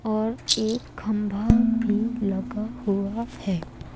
और एक खंभा भी लगा हुआ है।